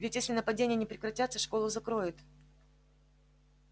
ведь если нападения не прекратятся школу закроют